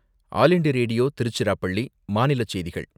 all India Radio, Tiruchirappalli, மாநிலச் செய்திகள்